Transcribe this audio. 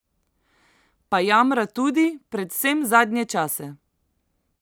Pa jamra tudi, predvsem zadnje čase!